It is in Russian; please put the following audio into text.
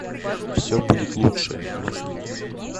все будет лучше мозги